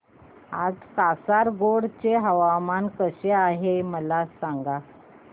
आज कासारगोड चे हवामान कसे आहे मला सांगा